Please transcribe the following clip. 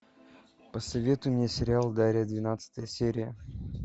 посоветуй мне сериал дарья двенадцатая серия